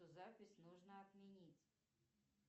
запись нужно отменить